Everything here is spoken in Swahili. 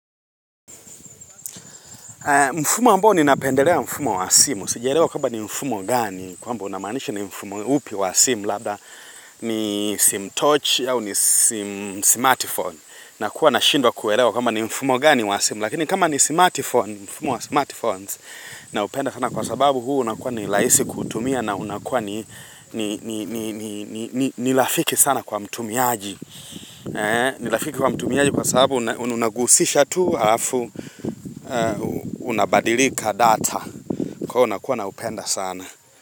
Mfumo ambao ni napendelea mfumo wa simu, sijaelewa kwamba ni mfumo gani kwamba unamanisha ni mfumo upi wa simu labda ni simu touch au ni simu smartphone na kuwa na shindwa kuerewa kwamba ni mfumo gani wa simu lakini kama ni smartphone mfumo wa smartphones na upenda sana kwa sababu huu unakuwa ni laisi kutumia na unakuwa ni lafiki sana kwa mtumiaji. Ni lafiki wa mtumiaji Kwa sababu unagusisha tu Harafu unabadilika data Kwa unakuwa na upenda sana.